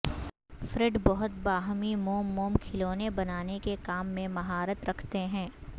Fred بہت باہمی موم موم کھلونے بنانے کے کام میں مہارت رکھتے ہیں